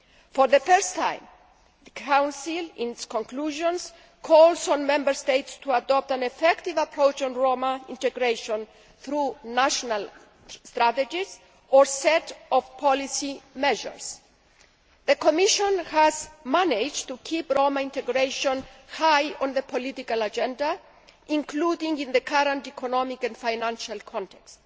For the first time, the Council in its conclusions calls on Member States to adopt an effective approach on Roma integration through national strategies or a set of policy measures. The Commission has managed to keep Roma integration high on the political agenda, including in the current economic and financial context.